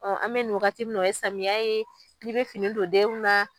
an bɛ nin wagati min na o ye samiyɛ ye, ni bɛ fini don denw na